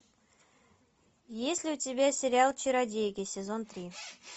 есть ли у тебя сериал чародейки сезон три